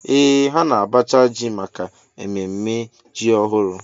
Ee ha na-abacha ji maka ememme ji ọhụrụ